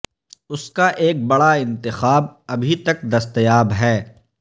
اس کا ایک بڑا انتخاب ابھی تک دستیاب ہے